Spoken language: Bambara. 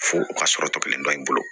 Fo o ka sɔrɔ tɔ kelen dɔ in bolo